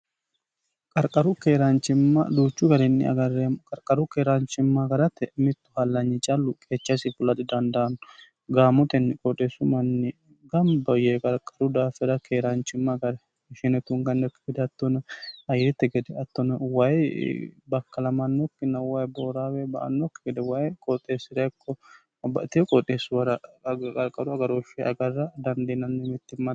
qarqaru keeraanchimma duuchu garinni agarremo qarqaru keeraanchimma garate mittu hallanyi callu qeechasi fulaxi dandaanno gaamotenni qooxeessu manni gamba yee qarqaru daafira keeraanchimma agare ishine tungannokki hattono ayerette gede hattona wayi bakkalamannokki wayi booraawe ba"annokki gede wayi qooxeessi'rekko bbateo qooxeessu wara qarqaru agarooshshi agarra dandiinanni mittimmani